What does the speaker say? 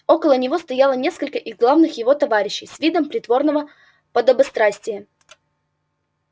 около него стояло несколько из главных его товарищей с видом притворного подобострастия